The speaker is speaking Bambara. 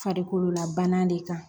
Farikololabana de kan